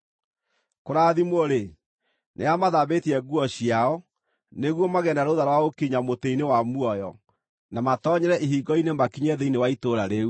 “Kũrathimwo-rĩ, nĩ arĩa mathambĩtie nguo ciao, nĩguo magĩe na rũtha rwa gũkinya mũtĩ-inĩ wa muoyo na matoonyere ihingo-inĩ makinye thĩinĩ wa itũũra rĩu.